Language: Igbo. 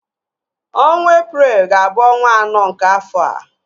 Ọnwa Eprel ga abụ ọnwa anọ nke afọa